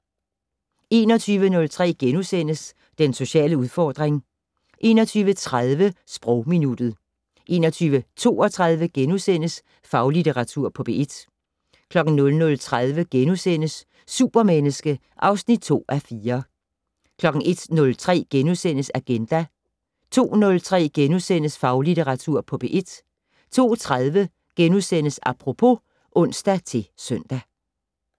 21:03: Den sociale udfordring * 21:30: Sprogminuttet 21:32: Faglitteratur på P1 * 00:30: Supermenneske (2:4)* 01:03: Agenda * 02:03: Faglitteratur på P1 * 02:30: Apropos *(ons-søn)